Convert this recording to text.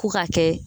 Ko ka kɛ